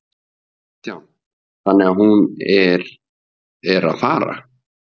Kristján: Þannig að hún er að, er, er að fara?